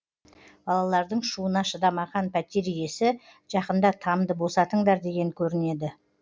балалардың шуына шыдамаған пәтер иесі жақында тамды босатыңдар деген көрінеді